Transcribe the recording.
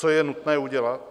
Co je nutné udělat?